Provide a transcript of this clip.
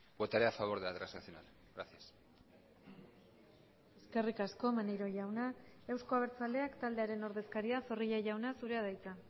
votaré a favor de la transaccional gracias eskerrik asko maneiro jauna euzko abertzaleak taldearen ordezkaria zorrilla jauna zurea da hitza